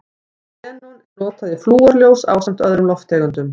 Xenon er notað í flúrljós ásamt öðrum lofttegundum.